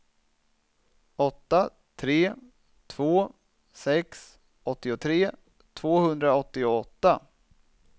åtta tre två sex åttiotre tvåhundraåttioåtta